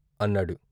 " అన్నాడు.